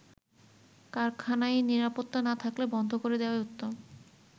কারখানায় নিরাপত্তা না থাকলে বন্ধ করে দেয়াই উত্তম।